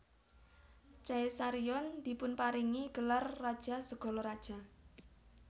Caesarion dipunparingi gelar Raja segala Raja